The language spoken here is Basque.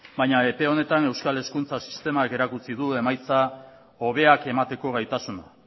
baina epe honetan euskal hezkuntza sistema erakutsi du emaitza hobeak emateko gaitasuna